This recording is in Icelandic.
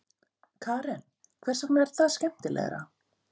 Karen: Hvers vegna er það skemmtilegra?